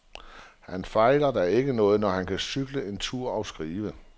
Han fejler da ikke noget, når han kan cykle en tur og skrive.